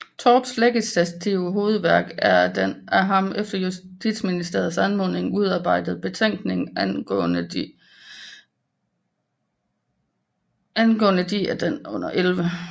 Torps legislative hovedværk er den af ham efter Justitsministeriets anmodning udarbejdede Betænkning angaaende de af den under 11